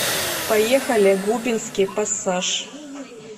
поехали губинский пассаж